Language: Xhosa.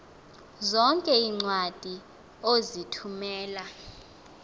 zonke iincwadi ozithumela